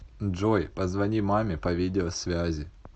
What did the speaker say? джой позвони маме по видеосвязи